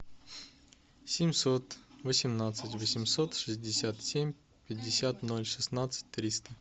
семьсот восемнадцать восемьсот шестьдесят семь пятьдесят ноль шестнадцать триста